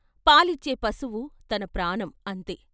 పాలిచ్చే పశువు తన ప్రాణం అంతే!